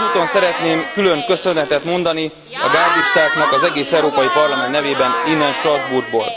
Ezúton szeretnék külön köszönetet mondani a gárdistáknak az egész Európai Parlament nevében, innen Strasbourgból.